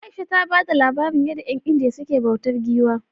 Aisha ta bada labarin yadda 'yan indiya suke bautar giwa